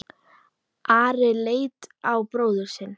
Ari leit á bróður sinn.